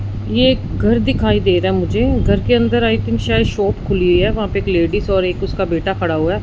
ये एक घर दिखाई दे रहा है मुझे घर के अंदर आई थिंक को शायद शॉप खुली है वहां पे एक लेडिस और उसका बेटा खड़ा हुआ है।